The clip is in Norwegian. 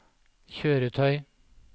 kjøretøy